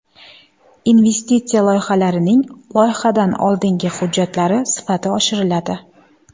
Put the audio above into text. Investitsiya loyihalarining loyihadan oldingi hujjatlari sifati oshiriladi.